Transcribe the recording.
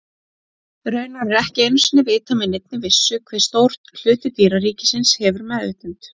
Raunar er ekki einu sinni vitað með neinni vissu hve stór hluti dýraríkisins hefur meðvitund.